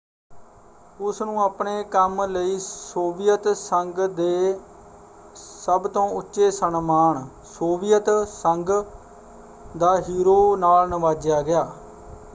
ਉਸਨੂੰ ਆਪਣੇ ਕੰਮ ਲਈ ਸੋਵੀਅਤ ਸੰਘ ਦੇ ਸਭ ਤੋਂ ਉੱਚੇ ਸਨਮਾਨ ਸੋਵੀਅਤ ਸੰਘ ਦਾ ਹੀਰੋ” ਨਾਲ ਨਿਵਾਜਿਆ ਗਿਆ।